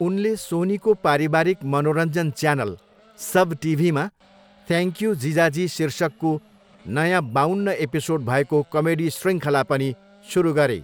उनले सोनीको पारिवारिक मनोरञ्जन च्यानल, सब टिभीमा थ्यान्ङक्यू जिजाजी शीर्षकको नयाँ बाउन्न एपिसोड भएको कमेडी शृङ्खला पनि सुरु गरे।